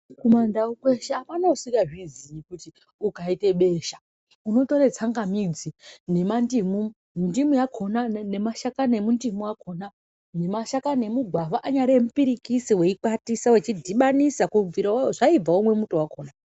KumaNdau kweshe hapana usingazviziyi kuti ukaite besha, unotore tsangamidzi nemandimu. Ndimu yakona nemashakani emundimu akona, nemashakani emugwavha, anyari emupirikisi weikwatisa wechidhibanisa kubvira zvaibva womwe muto wakona.